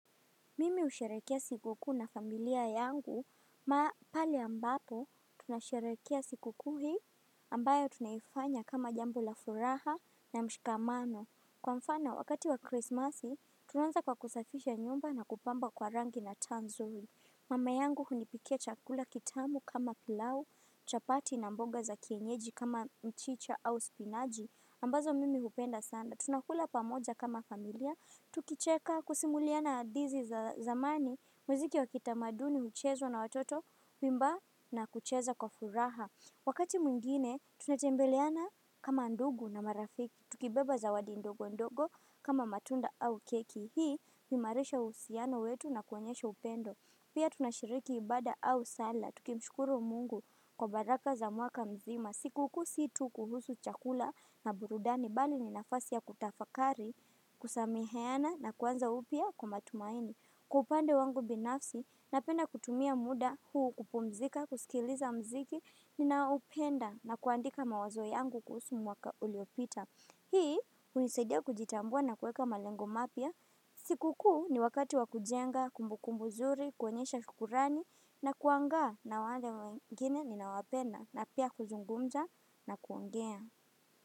Mimi husherehekea sikukuu na familia yangu ma pale ambapo tunasherehekea sikukuu hii ambayo tunaifanya kama jambo la furaha na mshikamano. Kwa mfano wakati wa Krisimasi tunaanza kwa kusafisha nyumba na kupamba kwa rangi na taa nzuri. Mama yangu hunipikia chakula kitamu kama pilau, chapati na mboga za kienyeji kama mchicha au spinaji ambazo mimi hupenda sana. Tunakula pamoja kama familia, tukicheka kusimuliana hadithi za zamani, muziki wa kitamaduni, huchezwa na watoto, kuimba na kucheza kwa furaha. Wakati mwingine, tunatembeleana kama ndugu na marafiki, tukibeba zawadi ndogo ndogo kama matunda au keki. Hii, huimarisha uhusiano wetu na kuonyesha upendo. Pia tunashiriki ibada au sala, tukimshukuru mungu kwa baraka za mwaka mzima. Sikukuu si tu kuhusu chakula na burudani bali ni nafasi ya kutafakari, kusameheana na kuanza upya kwa matumaini. Kwa upande wangu binafsi, napenda kutumia muda huu kupumzika, kusikiliza muziki, ninaoupenda na kuandika mawazo yangu kuhusu mwaka uliopita. Hii, hunisaidia kujitambua na kuweka malengo mapya. Sikukuu ni wakati wa kujenga, kumbukumbu nzuri, kuonyesha shukurani na kuangaa na wale wengine ninaowapenda na pia kuzungumza na kuongea.